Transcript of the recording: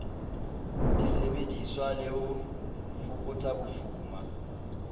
disebediswa le ho fokotsa bofuma